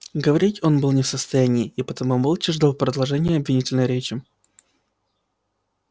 говорить он был не в состоянии и потому молча ждал продолжения обвинительной речи